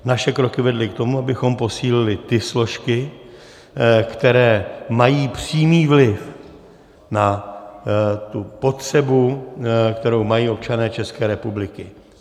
Naše kroky vedly k tomu, abychom posílili ty složky, které mají přímý vliv na tu potřebu, kterou mají občané České republiky.